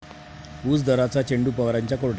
ऊस दराचा चेंडू पवारांच्या कोर्टात!